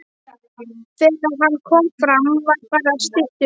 Þegar hann kom fram var farið að stytta upp.